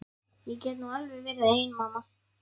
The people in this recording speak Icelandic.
Ég get nú alveg verið ein mamma.